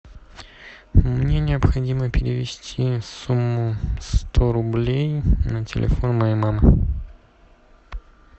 мне необходимо перевести сумму сто рублей на телефон моей мамы